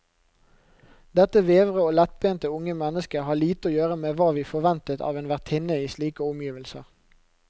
Dette vevre og lettbente unge mennesket har lite å gjøre med hva vi forventet av en vertinne i slike omgivelser.